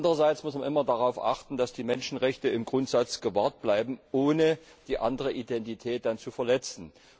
Andererseits muss man immer darauf achten, dass die Menschenrechte im Grundsatz gewahrt bleiben, ohne die andere Identität zu verletzen.